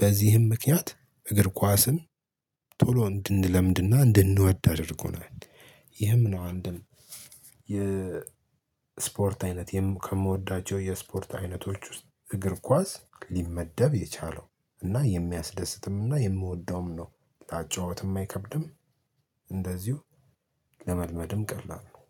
በዚህም ምክንያት እግር ኳስን ቶሎ እንድንለምድ እና እንድንወድ አድርጎናል። ይህም ነው አንድም የስፖርት አይነት ከምወዳቸው የስፖርት አይነቶች ውስጥ እግር ኳስ ሊመደብ የቻለው እና የሚያስደስትም እና የምወደውም ነው። ተአጨዋወትም አይከብድም። እንደዚሁ ለመልመድም ቀላል ነው